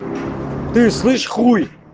ты слышишь хуй